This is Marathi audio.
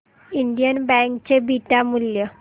इंडियन बँक चे बीटा मूल्य